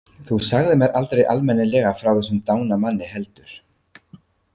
Þú sagðir mér aldrei almennilega frá þessum dána manni heldur.